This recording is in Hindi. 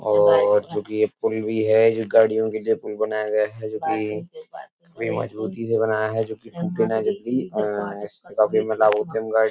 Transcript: और चूंकि ये पुल भी है जो गाड़ियों पुल बनाया गया है जो कि बड़ी मजबूती से बनाया है जो कि --